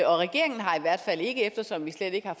og regeringen har i hvert fald ikke eftersom vi slet ikke har